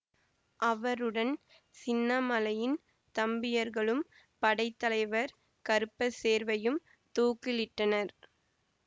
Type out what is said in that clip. அவருடன் சின்னமலையின் தம்பியர்களும் படை தலைவர் கருப்பசேர்வையும் தூக்கிலிட்டனர்